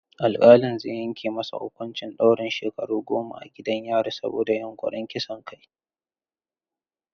Alkalin zai yanke masa huƙuncin ɗaurin shekaru goma a gidan yari saboda yunƙurin kisan kai.